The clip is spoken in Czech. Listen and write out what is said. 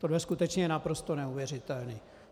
Tohle je skutečně naprosto neuvěřitelné.